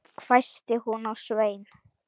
hvæsti hún á Svein